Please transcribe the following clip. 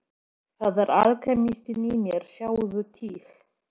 Það er alkemistinn í mér sjáðu til.